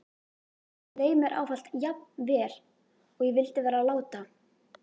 Leið mér ávallt jafn vel og ég vildi vera láta?